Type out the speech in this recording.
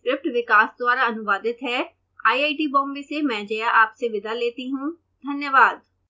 यह स्क्रिप्ट विकास द्वारा अनुवादित है आईआईटी बॉम्बे से मैं जया आपसे विदा लेती हूँ धन्यवाद